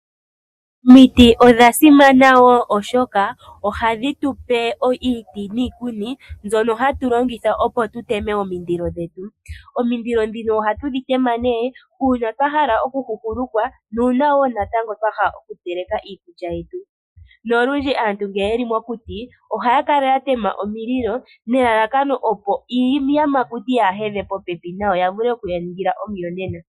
Omiti odha simana wo oshoka ohadhi tu pe iiti niikuni mbyoka hatu longitha opo tu teme omindilo dhetu . Omindilo dhino ohatu dhi tema nee uuna twa hala oku huhulukwa nuuna wo twahala oku teleka iikulya yetu. Nolundji aantu ngele yeli mokuti ohaya kala ya tema omililo nelalakano opo iiyamakuti yaa hedhe popepi nayo yaa vule okuya ningila omuyonena.